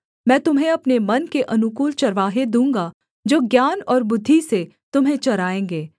मैं तुम्हें अपने मन के अनुकूल चरवाहे दूँगा जो ज्ञान और बुद्धि से तुम्हें चराएँगे